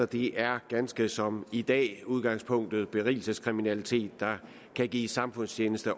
det er ganske som i dag i udgangspunktet berigelseskriminalitet der kan gives samfundstjeneste